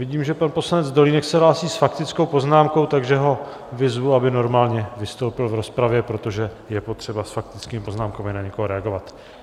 Vidím, že pan poslanec Dolínek se hlásí s faktickou poznámkou, takže ho vyzvu, aby normálně vystoupil v rozpravě, protože je potřeba s faktickými poznámkami na někoho reagovat.